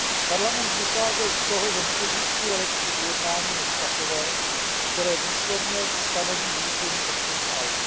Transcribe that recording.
Parlament vycházel z toho, že neexistuje lepší ujednání než takové, které výslovně stanoví zrušení opting out.